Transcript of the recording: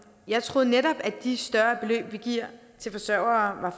jeg troede netop at de større beløb vi giver til forsørgere